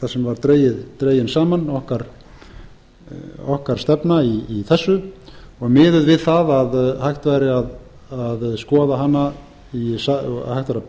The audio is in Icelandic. þar sem var dregin saman okkar stefna í þessu og miðuð við það að hægt væri að